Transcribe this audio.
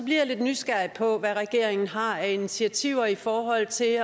jeg lidt nysgerrig på hvad regeringen har af initiativer i forhold til at